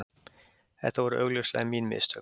Þetta voru augljóslega mín mistök